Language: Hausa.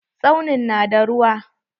Tsaunin na da ruwa.